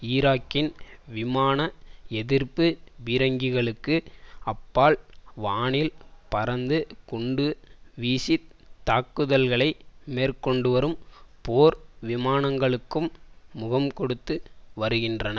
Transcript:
ஈராக்கின் விமான எதிர்ப்பு பீரங்கிகளுக்கு அப்பால் வானில் பறந்து குண்டு வீசி தாக்குதல்களை மேற்கொண்டு வரும் போர் விமானங்களுக்கும் முகம் கொடுத்து வருகின்றனர்